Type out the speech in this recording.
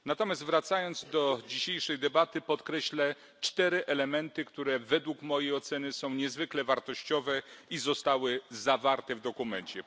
Natomiast wracając do dzisiejszej debaty, podkreślę cztery elementy, które, według mojej oceny, są niezwykle wartościowe i zostały zawarte w dokumencie.